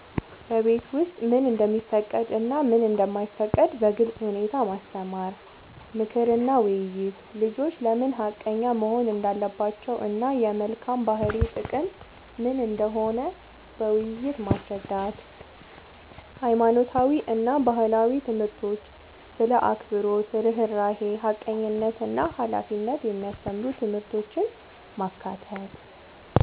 በቤት ውስጥ ምን እንደሚፈቀድ እና ምን እንደማይፈቀድ በግልጽ ሁኔታ ማስተማር። ምክር እና ውይይት፦ ልጆች ለምን ሐቀኛ መሆን እንዳለባቸው እና የመልካም ባህሪ ጥቅም ምን እንደሆነ በውይይት ማስረዳት። ሃይማኖታዊ እና ባህላዊ ትምህርቶች ስለ አክብሮት፣ ርህራሄ፣ ሐቀኝነት እና ሃላፊነት የሚያስተምሩ ትምህርቶችን ማካተት።